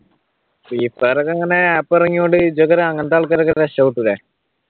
freefire ഒക്കെ അങ്ങനെ app ഇറങ്ങിയതുകൊണ്ട് ആൾക്കാരൊക്കെ രക്ഷപ്പെട്ടൂല്ലേ?